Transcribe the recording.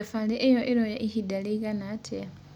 Thabarĩ ĩyo ĩroya ĩhĩnda rĩĩgana atĩa?